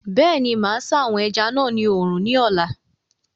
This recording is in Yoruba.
Bẹ́ẹ̀ni, máa sá àwọn ẹja náà ní oòrùn ní ọ̀la